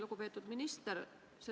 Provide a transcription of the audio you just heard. Lugupeetud minister!